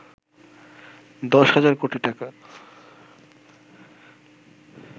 ১০ হাজার কোটি টাকা